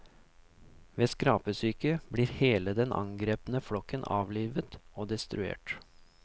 Ved skrapesyke blir hele den angrepne flokken avlivet og destruert.